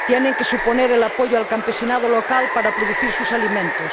Tienen que suponer un apoyo al campesinado local para producir sus alimentos.